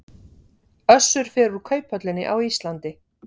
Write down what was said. Össur fer úr kauphöllinni á Íslandi